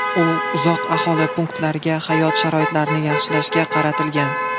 U uzoq aholi punktlaridagi hayot sharoitlarini yaxshilashga qaratilgan.